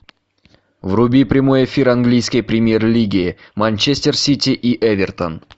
вруби прямой эфир английской премьер лиги манчестер сити и эвертон